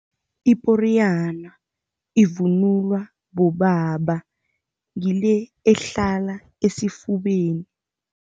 Iporiyana ivunulwa bobaba. Ngile ehlala esifubeni.